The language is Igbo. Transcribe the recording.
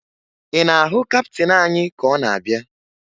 Ị na-ahụ kaptịn anyị ka ọ na-abịa?